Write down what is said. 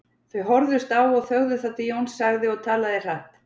Þau horfðust á og þögðu þar til Jón sagði og talaði hratt